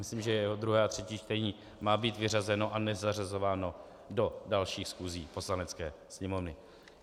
Myslím, že jeho druhé a třetí čtení má být vyřazeno a nezařazováno do dalších schůzí Poslanecké sněmovny.